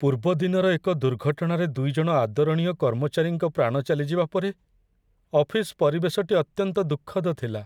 ପୂର୍ବଦିନର ଏକ ଦୁର୍ଘଟଣାରେ ଦୁଇ ଜଣ ଆଦରଣୀୟ କର୍ମଚାରୀଙ୍କ ପ୍ରାଣ ଚାଲିଯିବା ପରେ ଅଫିସ ପରିବେଶଟି ଅତ୍ୟନ୍ତ ଦୁଃଖଦ ଥିଲା।